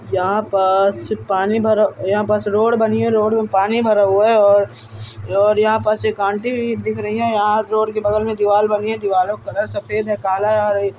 यहा पर पानी भरा यहाँ पर से रोड बनी है रोड में पानी भरा हुआ है और यहाँ पर से एक आंटी भी दिख रही है यहाँ रोड के बगल में दीवाल बनी है दीवालों का कलर सफेद है काला है।